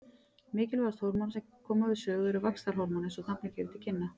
Mikilvægast hormóna sem koma við sögu er vaxtarhormón eins og nafnið gefur til kynna.